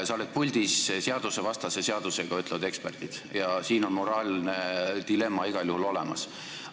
Sa oled puldis seadusvastase seadusega, ütlevad eksperdid, ja siin on moraalne dilemma igal juhul olemas.